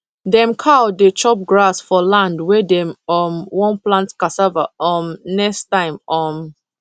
dem cow dey chop grass for land wey dem um wan plant cassava um next time um